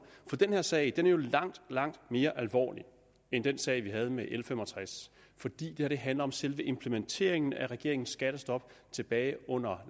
for den her sag er jo langt langt mere alvorlig end den sag vi havde med l fem og tres fordi det her handler om selve implementeringen af regeringens skattestop tilbage under